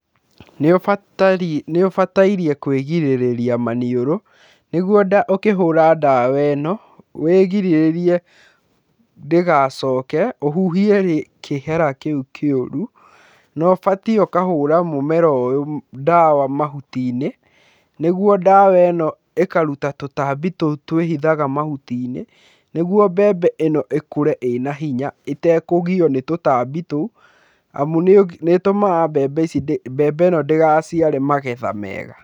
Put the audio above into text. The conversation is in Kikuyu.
Nĩ ũbataire kũĩgirĩrĩria maniũrũ nĩguo ũkĩhũra ndawa ĩno, wĩrigĩrĩrie ndĩgacoke ũhuhie kĩhera kĩu kĩũru. Na ũbatiĩ ũkahũra mũmera ũyũ ndawa mahuti-inĩ nĩguo ndawa ĩno ĩkaruta tũtambi tũu twĩhithaga mahuti-inĩ nĩguo mbembe ĩno ĩkũre ĩna hinya, ĩtakũgio nĩ tũtambi tũu, amu nĩ ĩtũmaga mbembe ĩno ndĩgaciare magetha mega.